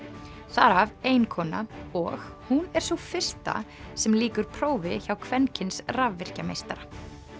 þar af ein kona og hún er sú fyrsta sem lýkur prófi hjá kvenkyns rafvirkjameistara